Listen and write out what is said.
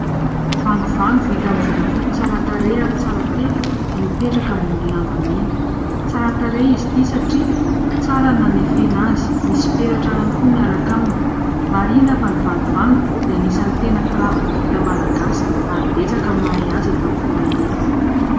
Vangovango vita amin'ny volafotsy tsara tarehy ary tsara tefy no mipetraka amin'ny lamba mena. Tsara tarehy izy ity satria tsara ny nanefena azy. Misy peratra ihany koa miaraka aminy. Marihina fa ny vangovango dia anisan'ny tena firavaka vita Malagasy ary betsaka ny mahay azy eto amin'ny firenena.